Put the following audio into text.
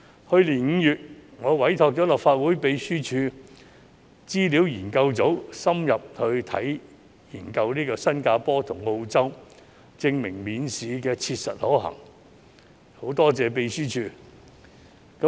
去年5月，我委託了立法會秘書處資料研究組深入研究新加坡及澳洲的情況，證明免試切實可行，我在此感謝立法會秘書處。